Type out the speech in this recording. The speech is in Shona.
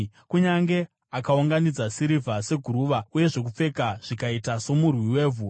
Kunyange akaunganidza sirivha seguruva, uye zvokupfeka zvikaita somurwi wevhu,